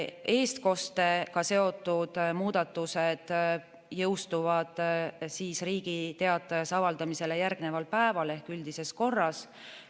Eestkostega seotud muudatused jõustuvad Riigi Teatajas avaldamisele järgneval päeval ehk üldises korras.